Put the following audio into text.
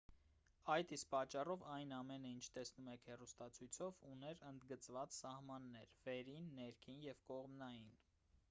այդ իսկ պատճառով այն ամենը ինչ տեսնում եք հեռուստացույցով ուներ ընդգծված սահմաններ վերին ներքին և կողմնային